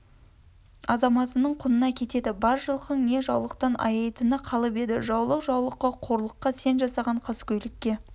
азаматының құнына кетеді бар жылқың не жаулықтан аяйтыны қалып еді жаулық жаулыққа қорлыққа сен жасаған қаскөйлікке